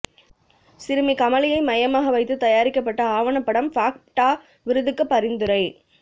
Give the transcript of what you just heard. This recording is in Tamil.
சிறுமி கமலியை மையமாக வைத்து தயாரிக்கப்பட்ட ஆவணப்படம் பாஃ ப்டா விருதுக்கு பரிந்துரை